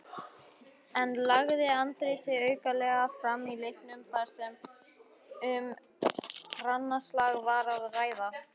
En lagði Andri sig aukalega fram í leiknum þar sem um grannaslag var að ræða?